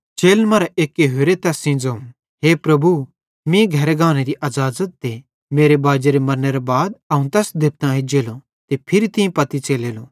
चेलन मरां एक्के होरे तैस सेइं ज़ोवं हे प्रभु मीं घरे गानेरी अज़ाज़त दे मेरे बाजेरे मरनेरां बाद अवं तैस देबतां एज्जेलो ते फिरी तीं पत्ती च़लेलो